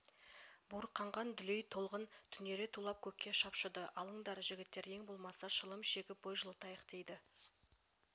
буырқанған дүлей толқын түнере тулап көкке шапшыды алыңдар жігіттер ең болмаса шылым шегкп бой жылытайық дейді